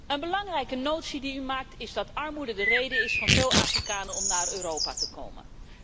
Een belangrijke vaststelling die u maakt is dat armoede de reden is van veel Afrikanen om naar Europa te komen.